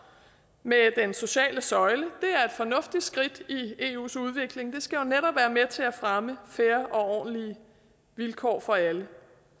med den sociale søjle fornuftigt skridt i eus udvikling det skal jo netop være med til at fremme fair og ordentlige vilkår for alle